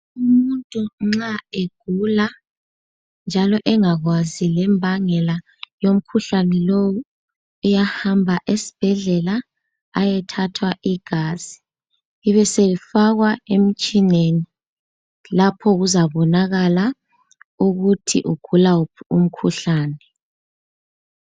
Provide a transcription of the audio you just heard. Umuntu nxa egula njalo engakwazi lembangela yomkhuhlane lowu, uyahamba esibhedlela ayethathwa igazi libe selifakwa emtshineni lapho kuzabonakala ukuthi ugula wuphi umkhuhlane.